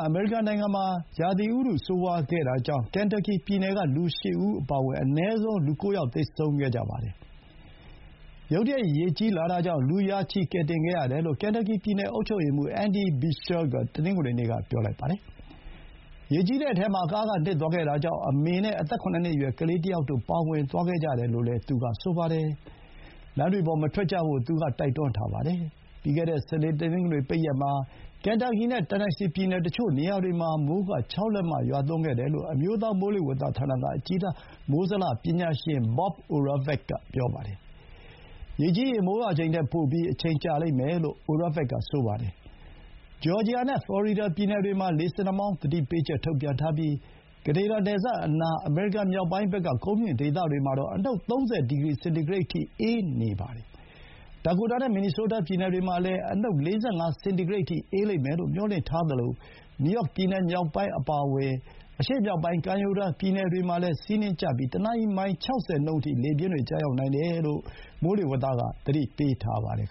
အမေရိကန်နိုင်ငံမှာ မကြာသေးမီက ရာသီဥတု ဆိုးဝါးခဲ့တာကြောင့် ကန်တပ်ကီပြည်နယ်က လူ ၈ ဦးအပါအဝင် အနည်းဆုံး လူ ၉ ဦးသေဆုံးခဲ့ပါတယ်။ ရုတ်တရက် ရေကြီးလာတာကြောင့် လူ ရာချီ ကယ်တင်ခဲ့ရတယ်လို့ ကန်တပ်ကီပြည်နယ် အုပ်ချုပ်ရေးမှူး Andy Beshear က တနင်္ဂနွေနေ့က ပြောပါတယ်။ ရေကြီးတဲ့အထဲမှာ ကားက နစ်သွားတာကြောင့် မိခင်ဖြစ်သူနဲ့ အသက် ၇ နှစ်အရွယ် ကလေးတယောက်တို့ ပါဝင်သွားခဲ့ကြတယ်လို့လည်း သူကဆိုပါတယ်။လမ်းတွေပေါ် မထွက်ကြဖို့ သူက တိုက်တွန်းထားပါတယ်။ ပြီးခဲ့တဲ့ စနေ တနင်္ဂနွေ ပိတ်ရက်မှာ ကန်တပ်ကီနဲ့ တန်နက်ဆီပြည်နယ် တချို့နေရာတွေမှာ မိုးရေချိန် ၆ လက်မ ရွာသွန်းခဲ့တယ်လို့ အမျိုးသား မိုးလေဝသဌာနက အကြီးတန်း မိုးဇလ ပညာရှင် Bob Oravec က ပြောပါတယ်။ ရေကြီးရင် မိုးရွာချိန်ထက် ပိုပြီး အချိန်ကြာလိမ့်မယ်လို့ Oravec က ဆိုပါတယ်။ ဂျော်ဂျီယာနဲ့ ဖလော်ရီဒါ ပြည်နယ်တွေမှာ လေဆင်နှာမောင်း သတိပေးချက် ထုတ်ပြန်ထားပြီး ကနေဒါ နယ်စပ်အနား အမေရိကန် မြောက်ပိုင်းဘက်က ကုန်းမြင့်ဒေသတွေမှာတော့ အနုတ် ၃၀ စင်တီဂရိတ်အထိ အေးနေပါတယ်။ ဒါကိုတာနဲ့ မင်နီဆိုးတား ပြည်နယ်တွေမှာလည်း အနုတ် ၄၅ စင်တီဂရိတ်အထိ အေးလိမ့်မယ်လို့ မျှော်လင့်ထားသလို နယူးယောက်ပြည်နယ်မြောက်ပိုင်း အပါအဝင် အရှေ့မြောက်ပိုင်း ကမ်းရိုးတန်း ပြည်နယ်တွေမှာလည်း ဆီးနှင်းကျပြီး တနာရီ မိုင် ၆၀ နှုန်းအထိ လေပြင်းကျရောက်နိုင်တယ်လို့ မိုးလေဝသက သတိပေးထားပါတယ်